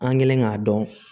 An kɛlen k'a dɔn